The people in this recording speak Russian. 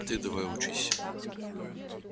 ты давай учись